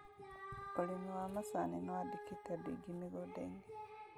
ũrĩmi wa macani nĩwandĩkĩte andũ aingĩ mĩgũnda-inĩ